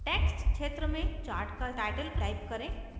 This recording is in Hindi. text क्षेत्र में chart का टाइटल type करें